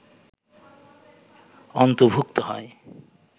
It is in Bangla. অন্তর্ভুক্ত হয়